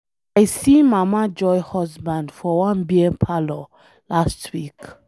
I see mama joy husband for one beer parlor last week.